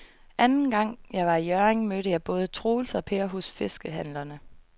Anden gang jeg var i Hjørring, mødte jeg både Troels og Per hos fiskehandlerne.